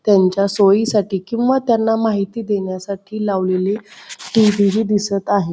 त्यांच्या सोयी साठी किंवा त्यांना माहिती देण्यासाठी लावलेली टी.व्ही. दिसत आहे.